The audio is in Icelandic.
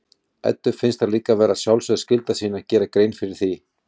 Eddu finnst það líka vera sjálfsögð skylda sín að gera grein fyrir því.